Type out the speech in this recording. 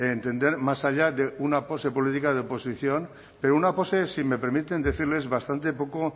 entender más allá de una pose política de oposición pero una pose si me permiten decirles bastante poco